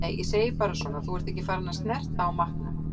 Nei, ég segi bara svona. þú ert ekki farin að snerta á matnum.